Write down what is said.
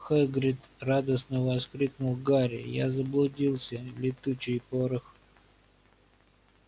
хагрид радостно воскликнул гарри я заблудился летучий порох